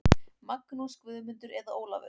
Magnús, Guðmundur eða Ólafur.